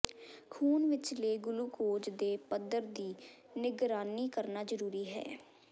ਖੂਨ ਵਿਚਲੇ ਗਲੂਕੋਜ਼ ਦੇ ਪੱਧਰ ਦੀ ਨਿਗਰਾਨੀ ਕਰਨਾ ਜ਼ਰੂਰੀ ਹੈ